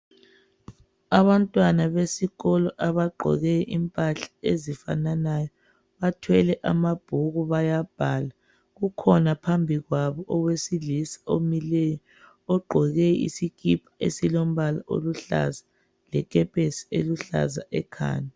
Abantwana besikolo abagqoke impahla ezifananayo bathwele amabhuku bayabhala. Kukhona phambi kwabo owesilisa omileyo ogqoke isikipa esilombala oluhlaza lekepesi eluhlaza ekhanda.